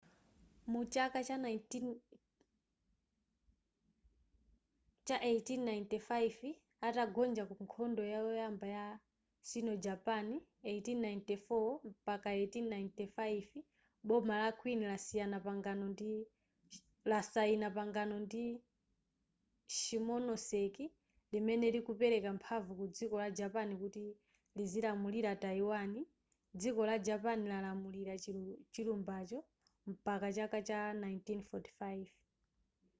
mu chaka cha 1895 atagonja ku nkhondo yoyamba ya sino-japan 1894-1895 boma la qing lasayina pangano la shimonoseki limene likupereka mphamvu ku dziko la japan kuti lizilamulira taiwan dziko la japan lalamulira chilumbacho mpaka chaka cha 1945